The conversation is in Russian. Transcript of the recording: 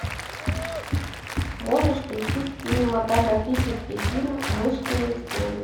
можешь включить кинематографический фильм мышкины истории